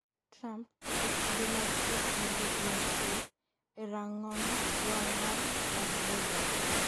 Trump,e kinde mag twak mogik mag ker e rang'ong wang' mar Las Vegas